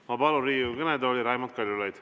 Ma palun Riigikogu kõnetooli Raimond Kaljulaidi.